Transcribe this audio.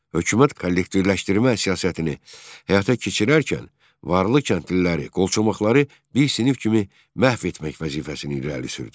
Hökumət kollektivləşdirmə siyasətini həyata keçirərkən varlı kəndliləri, qolçomaqları bir sinif kimi məhv etmək vəzifəsini irəli sürdü.